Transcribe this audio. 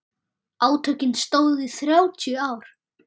Átökin stóðu í þrjátíu ár.